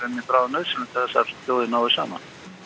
bráðnauðsynlegt að þessar þjóðir nái saman